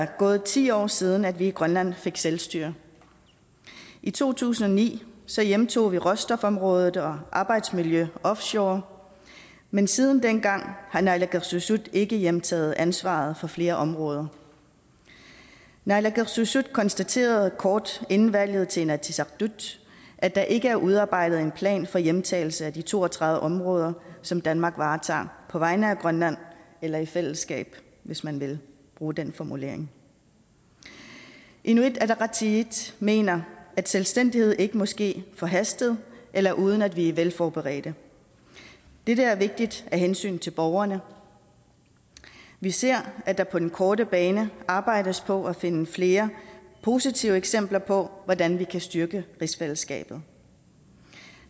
gået ti år siden vi i grønland fik selvstyre i to tusind og ni hjemtog vi råstofområdet og arbejdsmiljøet offshore men siden dengang har naalakkersuisut ikke hjemtaget ansvaret for flere områder naalakkersuisut konstaterede kort inden valget til inatsisartut at der ikke er udarbejdet en plan for hjemtagelse af de to og tredive områder som danmark varetager på vegne af grønland eller i fællesskab hvis man vil bruge den formulering inuit ataqatigiit mener at selvstændighed ikke må ske forhastet eller uden at vi er velforberedte det er vigtigt af hensyn til borgerne vi ser at der på den korte bane arbejdes på at finde flere positive eksempler på hvordan vi kan styrke rigsfællesskabet